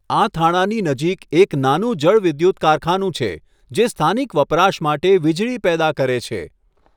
આ થાણાની નજીક એક નાનું જળવિદ્યુત કારખાનું છે, જે સ્થાનિક વપરાશ માટે વીજળી પેદા કરે છે.